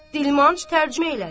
Dilmanç tərcümə elədi.